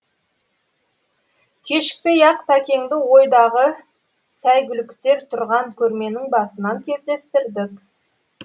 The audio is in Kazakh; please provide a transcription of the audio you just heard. кешікпей ақ тәкеңді ойдағы сәйгүліктер тұрған көрменің басынан кездестірдік